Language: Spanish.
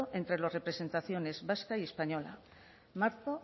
entre las representaciones y española marzo